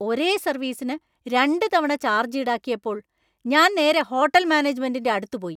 ഒരേ സർവീസിന് രണ്ട് തവണ ചാർജ് ഈടാക്കിയപ്പോൾ ഞാൻ നേരെ ഹോട്ടൽ മാനേജ്‌മെന്‍റിന്‍റെ അടുത്ത് പോയി.